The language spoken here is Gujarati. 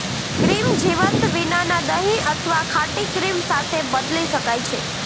ક્રીમ જીવંત વિનાના દહીં અથવા ખાટી ક્રીમ સાથે બદલી શકાય છે